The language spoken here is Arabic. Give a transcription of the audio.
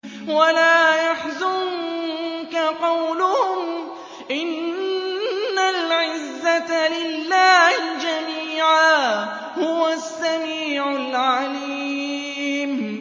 وَلَا يَحْزُنكَ قَوْلُهُمْ ۘ إِنَّ الْعِزَّةَ لِلَّهِ جَمِيعًا ۚ هُوَ السَّمِيعُ الْعَلِيمُ